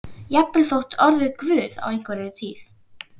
Jafnvel orðið guð á einhverri tíð.